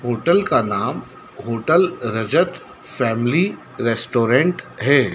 Hotel का नाम hotel Rajat family restaurant है।